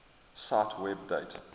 cite web date